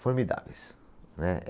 formidáveis, né?